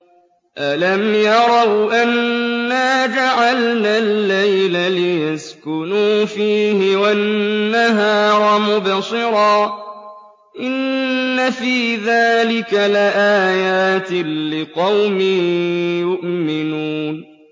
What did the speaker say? أَلَمْ يَرَوْا أَنَّا جَعَلْنَا اللَّيْلَ لِيَسْكُنُوا فِيهِ وَالنَّهَارَ مُبْصِرًا ۚ إِنَّ فِي ذَٰلِكَ لَآيَاتٍ لِّقَوْمٍ يُؤْمِنُونَ